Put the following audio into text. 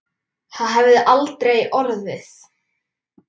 Það hefði aldrei orðið.